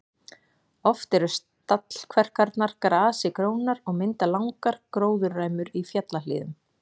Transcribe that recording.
Oft eru stallkverkarnar grasi grónar og mynda langar gróðurræmur í fjallahlíðum.